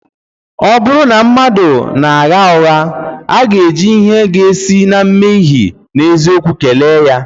Ọ bụrụ na mmadụ na-agha ụgha, a ga-eji ihe ga-esi n’emeghị ihe n’eziokwu kelee ya